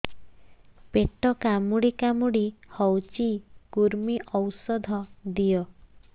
ପେଟ କାମୁଡି କାମୁଡି ହଉଚି କୂର୍ମୀ ଔଷଧ ଦିଅ